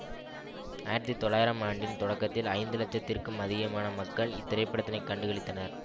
ஆயிரத்தி தொள்ளாயிரம் ஆண்டின் தொடக்கத்தில் ஐந்து இலட்சத்திற்கும் அதிகமான மக்கள் இத்திரைப்படத்தினை கண்டுகளித்திருந்தனர்